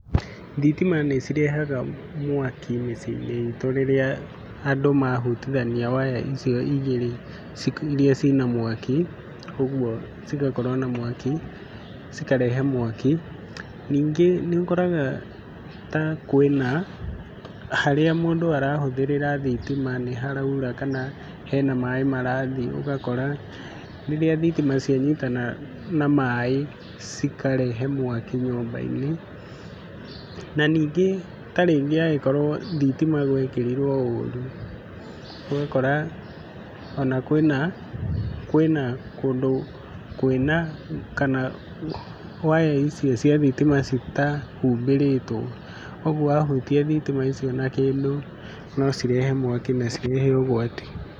Thitima nĩcirehaga mwaki mĩciĩ-inĩ itũ rĩrĩa andũ mahutithania waya icio igĩrĩ iria ciĩna mwaki, ũguo cigakorwo na mwaki cikarehe mwaki. Ningĩ nĩũkoraga ta kwĩna harĩa mũndũ arahũthĩrĩra thitima nĩharaura kana hena maĩ marathiĩ ũgakora rĩrĩa thitima cianyitana na maĩ cikarehe mwaki nyũmba-inĩ. Na ningĩ, ta rĩngĩ angĩkorwo thitima gwekĩrirwo ũru, ũgakora ona kwĩna kwĩna kũndũ kwĩna kana waya icio cia thitima citahumbĩrĩtwo, ũguo wahutia thitima icio na kĩndũ no cirehe mwaki na cirehe ũgwati.